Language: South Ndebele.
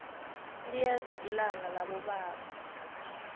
liyeza ilanga labobaba